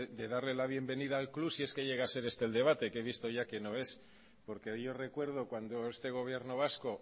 de darle la bienvenida al club si es que llega a ser este el debate que he visto ya que no lo es porque yo recuerdo cuando este gobierno vasco